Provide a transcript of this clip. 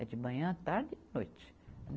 É de manhã, tarde e noite.